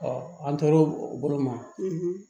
an tor'o o bolo ma